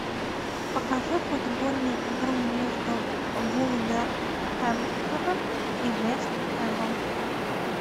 покажи футбольную игру между вулверхэмптоном и вест хэмом